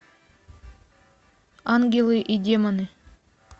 ангелы и демоны